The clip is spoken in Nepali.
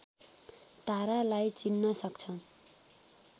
तारालाई चिन्न सक्छ